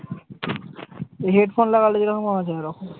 Headphone লাগালে যেরকম আওয়াজ হয় ঐরকম।